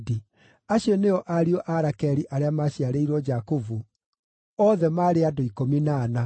Acio nĩo ariũ a Rakeli arĩa maaciarĩirwo Jakubu othe maarĩ andũ ikũmi na ana.